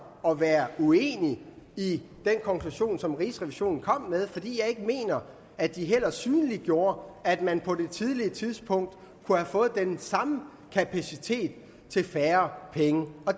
at være uenig i den konklusion som rigsrevisionen kom med fordi jeg mener at de heller ikke synliggjorde at man på et tidligere tidspunkt kunne have fået den samme kapacitet for færre penge